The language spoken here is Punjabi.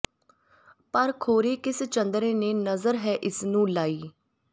ਪਰ ਖੌਰੇ ਕਿਸ ਚੰਦਰੇ ਨੇ ਨਜ਼ਰ ਹੈ ਇਸ ਨੂੰ ਲਾਈ